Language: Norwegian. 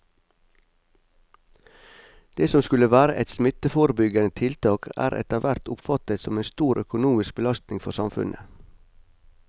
Det som skulle være et smitteforebyggende tiltak er etterhvert oppfattet som en stor økonomisk belastning for samfunnet.